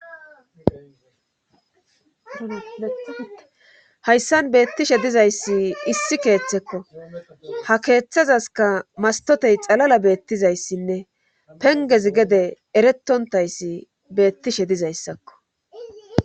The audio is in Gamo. hayssan beettishe dizayssi issi keeththekko ha keeththazaska mastotey xalala beettizayssinne penges gede eretontayssi beettishe dizayssakko